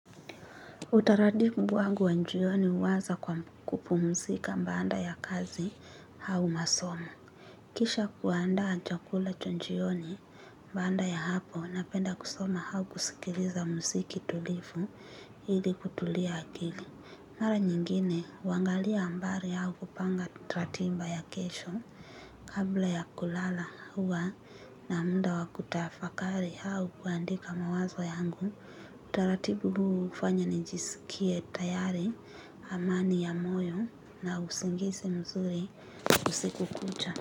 Utaratibu wangu wa njioni huanza kwa kupumzika baada ya kazi au masomo. Kisha kuandaa chakula cha njioni ni baada ya hapo napenda kusoma au kusikiliza mziki tulivu ili kutulia akili. Mara nyingine, huangalia habari au kupanga ratiba ya kesho. Kabla ya kulala huwa na muda wakutafakari au kuandika mawazo yangu. Utaratibu huu hufanya nijisikie tayari amani ya moyo na usingizi mzuri usiku kucha.